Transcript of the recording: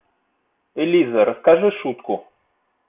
элиза расскажи шутку